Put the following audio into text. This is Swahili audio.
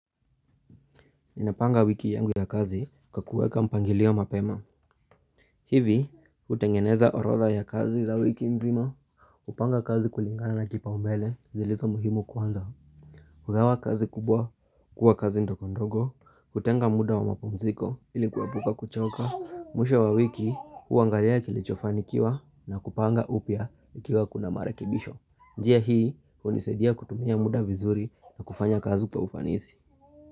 Ninapanga wiki yangu ya kazi kwa kuweka mpangilio mapema hivi hutengeneza orodha ya kazi za wiki nzima hupanga kazi kulingana na kipaombele zilizo muhimu kwanza hugawa kazi kubwa kuwa kazi ndogondogo kutenga muda wa mapumziko ili kuepuka kuchoka mwisho wa wiki huangalia kilichofanikiwa na kupanga upya ikiwa kuna marekibisho njia hii huniaidia kutumia muda vizuri na kufanya kazi kwa ufanisi.